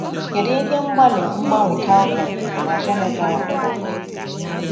Kedu ihe mgbalị mgbanwe Calvin na Geneva rụpụtara?